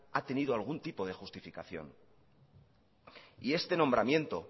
ha tenido algún tipo de justificación y este nombramiento